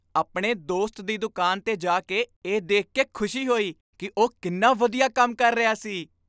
ਆਪਣੇ ਦੋਸਤ ਦੀ ਦੁਕਾਨ 'ਤੇ ਜਾ ਕੇ ਇਹ ਦੇਖ ਕੇ ਖੁਸ਼ੀ ਹੋਈ ਕਿ ਉਹ ਕਿੰਨਾ ਵਧੀਆ ਕੰਮ ਕਰ ਰਿਹਾ ਸੀ।